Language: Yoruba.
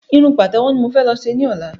Irun pàtẹ́wọ́ ni mo fẹ́ lọ ṣe ní ọ̀la